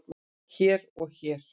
hér og hér